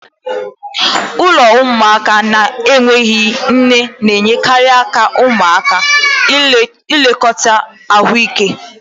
Ụlọ ụmụaka na-enweghị nne na-enyekarị ụmụaka nlekọta ahụike